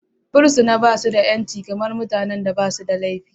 Fursuna ba shi da 'yanci kamar mutanen da ba suda laifi.